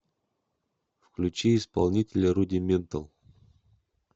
включи исполнителя рудиментал